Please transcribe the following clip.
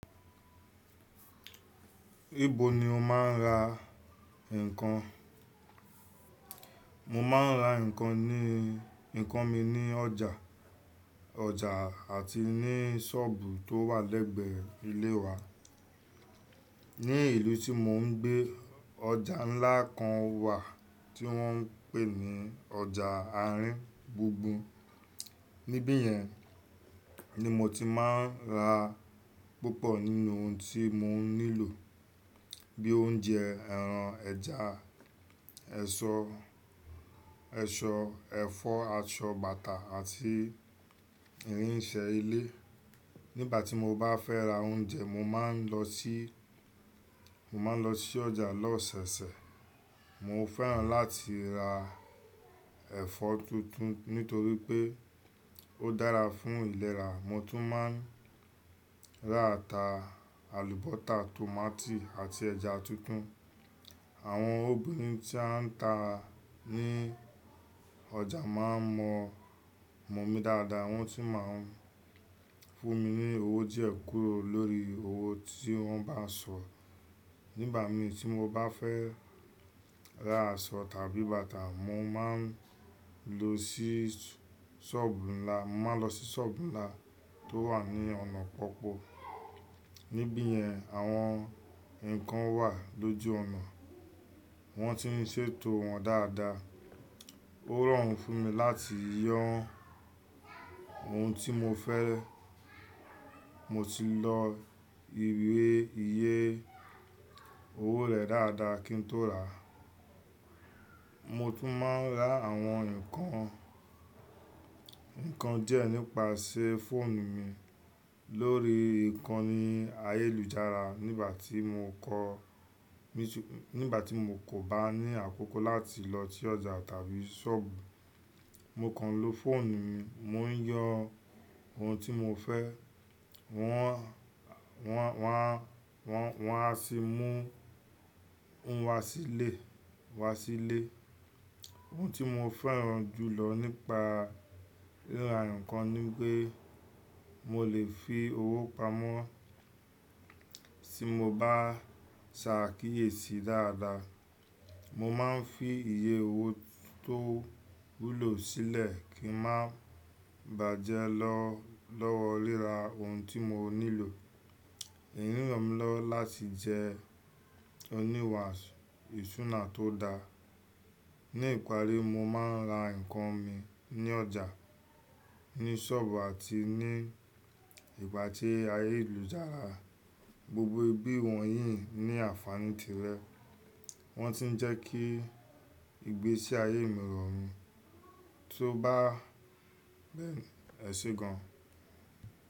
Ibo ni o máa ń ra nǹkan? Mo máa ń ra nǹkan mi ní ọjà, àti ní ṣọ́ọ̀bù tó wà lẹ́gbẹ̀ẹ́ ilé wa. Ní ìlú tí mò ń gbé, ọjà ńlá kan wà tí wọ́n ń pè ní ọjà àárín bùnbùn. Nibẹ̀ yẹn ni mo ti máa ń ra púpọ̀ nínú ohun tí mò ń nílò, bíi oúnjẹ, ẹran, ẹja. Èso, ẹ̀fọ́, aṣọ, bàtà àti irinṣẹ́ ilé. Nígbà tí mo bá fẹ́ ra oúnjẹ, mo máa ń lọ sí ọjà lọ́ oṣẹ̀oṣẹ̀. Mo fẹ́ràn láti ra ẹ̀fọ́ tuntun nítorí pé ó dára fún ìlera. Mo tún máa ń ra ata, àlùbọsa, tomátì àti ẹja tuntun. Àwọn obìnrin tí won ta ọjà máa ń mọ́ mi dáadáa, wọ́n sì máa ń fún mi ní owó díẹ̀ kúrò lórí owó tí wọ́n bá sọ̀. Nígbà mì, tí mo bá fẹ́ Ra aṣọ tàbí bàtà, mo máa ń lọ sí ṣọ́ọ̀bù ńlá tó wà ní ọ̀nà pọ́pọ̀. Nibẹ̀ yẹn, àwọn nǹkan wà lójú ọ̀nà, wọ́n si ń ṣètò wọn dáadáa. Ó rọrùn fún mi láti nee ohun tí mo fẹ́, mo sì lọ nee owó rẹ̀ dáadáa kí n tó rà á. Mo tún máa ń ra àwọn nǹkan díẹ̀ nípasẹ̀ fóònù mi, lórí ìkànnì ayélujára nígbà tí mo kò bá ní àkókò láti lọ sí ọjà tàbí ṣọ́ọ̀bù. Mo kàn ń lo fóònù mi, mo ń yoo ohun tí mo fẹ́, wọn a sì mú un wá sílé. Ohun tí mo fẹ́ràn jù lọ nípa ríra nǹkan ni pé, mo lè fi owó pamọ́ tí mo bá ṣàákíyèsí dáadáa. Mo máa ń fi iye owó tó wúlò sílẹ̀, kí ń má bàjẹ́ lọ́wọ́ ríra ohun tí mò ń nílò. Eyii remílowo láti jẹ oníwà ìṣúná tó dáa. Ní ìparí, mo máa ń ra nǹkan mi ní ọjà, ní ṣọ́ọ̀bù àti ní ìgbà tí ayélujára. Gbogbo ibi wọ̀nyí ní àǹfààní tirẹ̀, wọ́n sì ń jẹ́ kí ìgbésí ayé mì rorun, tó bá bẹ́ẹ̀ eṣe gan.